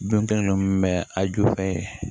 Don kelen don a ju fɛ